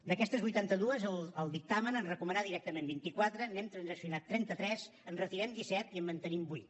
d’aquestes vuitanta dues el dictamen en recomana directament vint i quatre n’hem transaccionat trenta tres en retirem disset i en mantenim vuit